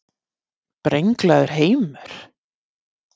Brenglaður heimur?